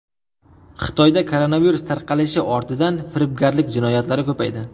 Xitoyda koronavirus tarqalishi ortidan firibgarlik jinoyatlari ko‘paydi.